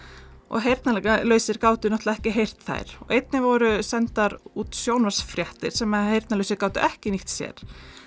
og heyrnarlausir gátu náttúrulega ekki heyrt þær einnig voru sendar út sjónvarpsfréttir sem heyrnarlausir gátu ekki nýtt sér